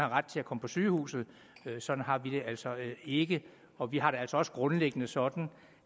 ret til at komme på sygehuset sådan har vi det altså ikke og vi har det altså også grundlæggende sådan